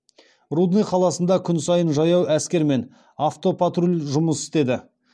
рудный қаласында күн сайын жаяу әскер мен автопатруль жұмыс істеді